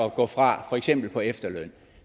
at gå fra for eksempel på efterløn